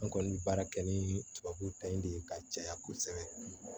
An kɔni bɛ baara kɛ ni tubabu ta in de ye ka caya kosɛbɛ